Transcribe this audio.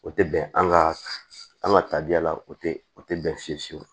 O tɛ bɛn an ka an ka tabiya la o tɛ o tɛ bɛn fiye fiyewu